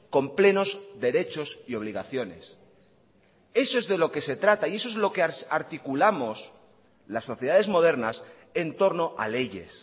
con plenos derechos y obligaciones eso es de lo que se trata y eso es lo que articulamos las sociedades modernas en torno a leyes